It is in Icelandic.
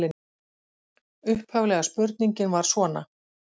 Margt orkar þó tvímælis í fréttum af vélinni.